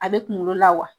A bɛ kunkolo la wa